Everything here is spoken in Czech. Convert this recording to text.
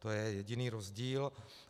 To je jediný rozdíl.